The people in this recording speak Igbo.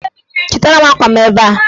Chịtara m akwa m ebe a!